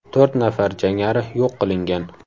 To‘rt nafar jangari yo‘q qilingan.